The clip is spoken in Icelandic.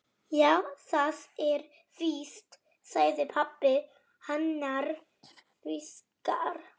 Já, það er víst sagði pabbi annars hugar.